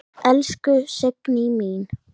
Elsku Signý mín.